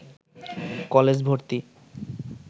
college ভর্তি